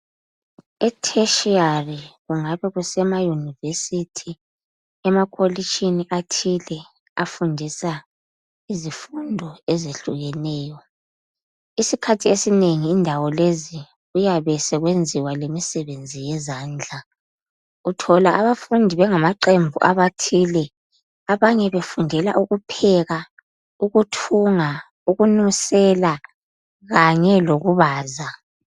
Etheshiyari kungabe kusemayunivesithi ,emakolitshini athile afundisa izifundo ezehlukeneyo. Isiikhathi esinengi indawo lezi kuyabe sekuyenziwa lemisebenzi yezandla uthola abafundi bengamaqembu athile abanye befundela ukupheka, ukuthunga, ukunusela kanye lokubaza.